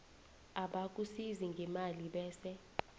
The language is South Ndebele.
abakusiza ngemali bese